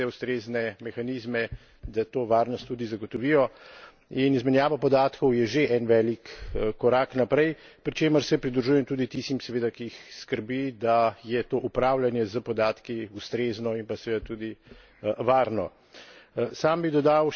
Zato pa je potrebno zagotoviti vse ustrezne mehanizme, da to varnost tudi zagotovijo, in izmenjava podatkov je že en velik korak naprej, pri čemer se pridružujem tudi tistim seveda, ki jih skrbi, da je to upravljanje s podatki ustrezno in pa seveda tudi varno.